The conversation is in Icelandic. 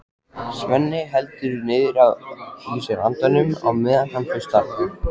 Svenni heldur niðri í sér andanum á meðan hann hlustar.